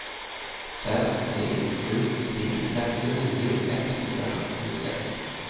fem tre sju tre femtionio etthundrasjuttiosex